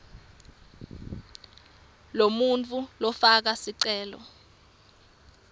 lomuntfu lofaka sicelo